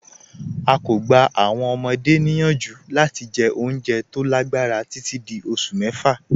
À kọ́ gbà àwọn ọmọde niyanju lati jẹ́ ọ̀unjẹ́ tó lágbarà tití dí ọṣù mẹ́fà.